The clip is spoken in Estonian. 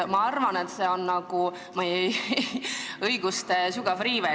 Ma arvan, et see on meie õiguste sügav riive.